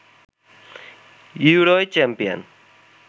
ইউরোয় champion